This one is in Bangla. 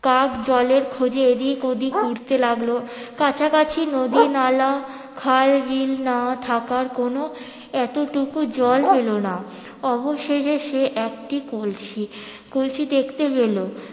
কাক জলের খোঁজে এদিক ওদিক উড়তে লাগলো কাছাকাছি নদি নালা খাল বিল না থাকার কোনো এতটুকু জল পেলো না অবশেষে সে একটি কলসি কলসি দেখতে পেলো